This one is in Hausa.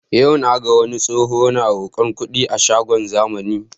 Yau naga wani tsoho na roƙon kuɗi a shagon zamani